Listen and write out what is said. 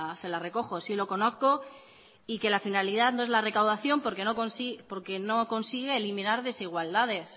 se la recojo sí lo conozco y que la finalidad no es la recaudación porque no consigue eliminar desigualdades